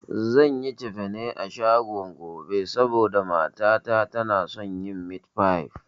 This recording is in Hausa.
Zan yi cefane a shagon gobe, saboda mata ta tana son yin mit fai